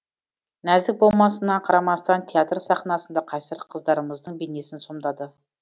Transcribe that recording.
нәзік болмысына қарамастан театр сахнасында қайсар қыздарымыздың бейнесін сомдады